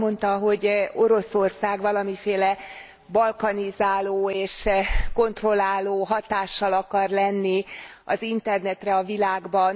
Azt mondta, hogy Oroszország, valamiféle balkanizáló és kontrolláló hatással akar lenni az Internetre a világban.